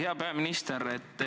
Hea peaminister!